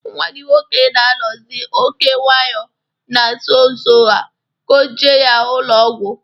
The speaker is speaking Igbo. Nwa gị nwoke na-anọzị oké nwayọ na nso nso a, kpoje ya ụlọ ọgwụ